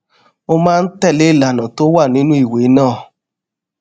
mo máa ń tẹ lé ìlànà tó wà nínú ìwé náà